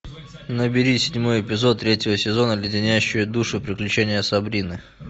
набери седьмой эпизод третьего сезона леденящие душу приключения сабрины